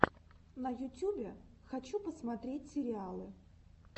на ютюбе хочу посмотреть сериалы